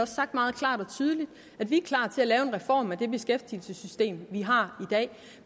sagt meget klart og tydeligt at vi er klar til at lave en reform af det beskæftigelsessystem vi har